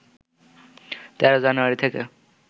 ১৩ January থেকে